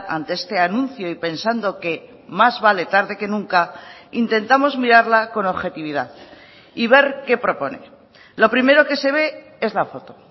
ante este anuncio y pensando que más vale tarde que nunca intentamos mirarla con objetividad y ver qué propone lo primero que se ve es la foto